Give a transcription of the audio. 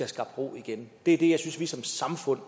skabt ro igen det er det jeg synes vi som samfund